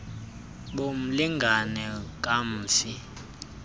bo mlingane kamfi